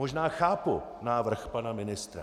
Možná chápu návrh pana ministra.